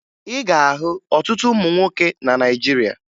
Ị ga-ahụ ọtụtụ ụmụ nwoke na Naịjirịa